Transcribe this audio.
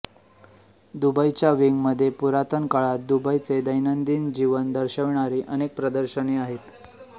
दुबईच्या विंगमध्ये पुरातन काळात दुबईचे दैनंदिन जीवन दर्शविणारी अनेक प्रदर्शने आहेत